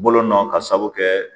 Bolo nɔn k'a saabu kɛ